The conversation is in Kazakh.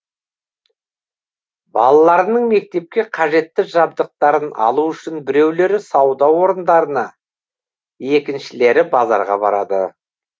балаларының мектепке қажетті жабдықтарын алу үшін біреулері сауда орындарына екіншілері базарға барады